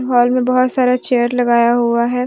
Hall में बहोत सारा चेयर लगाया हुआ है।